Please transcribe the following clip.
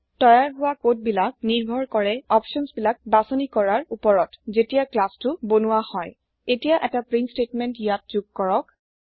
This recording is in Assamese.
তৈয়াৰ হোৱা কোদ বিলাক নিৰ্ভৰ কৰে অপচন বিলাক বাছনি কৰাৰ ওপৰত যেতিয়া ক্লাছতো বনোৱা হয় এতিয়া এটা প্ৰীন্ট স্টেতমেন্ত ইয়াত যোগ কৰক